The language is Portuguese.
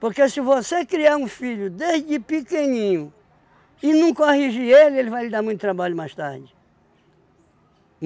Porque se você criar um filho desde pequenininho e não corrigir ele, ele vai lhe dar muito trabalho mais tarde.